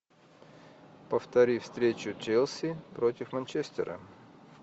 повтори встречу челси против манчестера